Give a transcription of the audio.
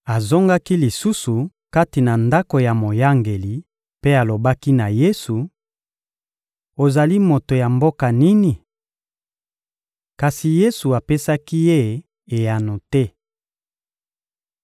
Azongaki lisusu kati na ndako ya moyangeli mpe alobaki na Yesu: — Ozali moto ya mboka nini? Kasi Yesu apesaki ye eyano te.